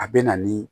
A bɛ na ni